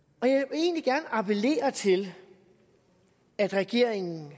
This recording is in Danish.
jeg appellere til at regeringen